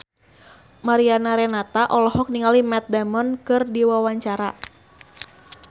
Mariana Renata olohok ningali Matt Damon keur diwawancara